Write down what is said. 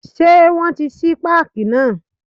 Ṣé wọn tí ṣí páàkì náà.